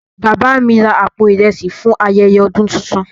Baba mi ra àpò ìrẹsì fún ayẹyẹ ọdún tuntun.